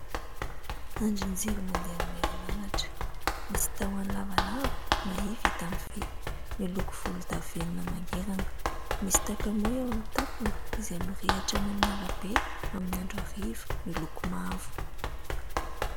Andrin-jiro mandeha amin'ny herinaratra misy tahony lavalava ,mahia, vita amin'ny vy miloko volodavenona mangirana, misy takamoa eo any tapony , izay mirehatra eo amin'ny ara-be amin'ny andro ariva ,miloko mavo.